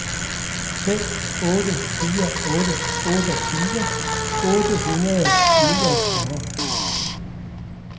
fem otte fire otte otteogtyve otte hundrede og niogfyrre